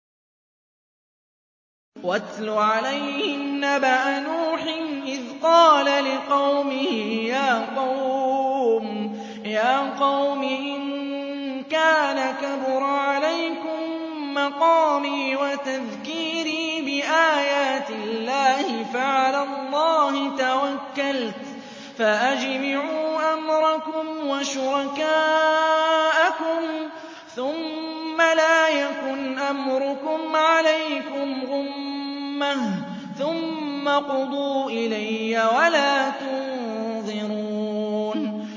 ۞ وَاتْلُ عَلَيْهِمْ نَبَأَ نُوحٍ إِذْ قَالَ لِقَوْمِهِ يَا قَوْمِ إِن كَانَ كَبُرَ عَلَيْكُم مَّقَامِي وَتَذْكِيرِي بِآيَاتِ اللَّهِ فَعَلَى اللَّهِ تَوَكَّلْتُ فَأَجْمِعُوا أَمْرَكُمْ وَشُرَكَاءَكُمْ ثُمَّ لَا يَكُنْ أَمْرُكُمْ عَلَيْكُمْ غُمَّةً ثُمَّ اقْضُوا إِلَيَّ وَلَا تُنظِرُونِ